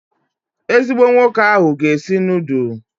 Ezigbo nwoke ahụ ga-esi nudulu